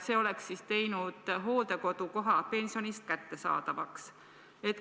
See oleks teinud hooldekodukoha pensioni eest kättesaadavaks.